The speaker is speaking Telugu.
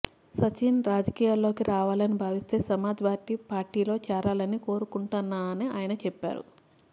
సచిన్ రాజకీయాల్లోకి రావాలని భావిస్తే సమాజ్ వాదీ పార్టీలో చేరాలని కోరుకుంటున్నానని ఆయన చెప్పారు